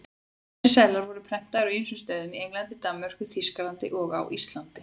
Þessir seðlar voru prentaðir á ýmsum stöðum, í Englandi, Danmörku, Þýskalandi og á Íslandi.